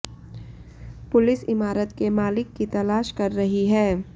police इमारत के मालिक की तलाश कर रही है